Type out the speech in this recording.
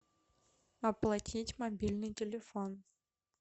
оплатить мобильный телефон